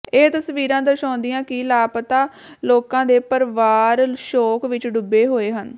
ਇਹ ਤਸਵੀਰਾਂ ਦਰਸਾਉਂਦੀਆਂ ਕਿ ਲਾਪਤਾ ਲੋਕਾਂ ਦੇ ਪਰਵਾਰ ਸ਼ੋਕ ਵਿਚ ਡੁੱਬੇ ਹੋਏ ਹਨ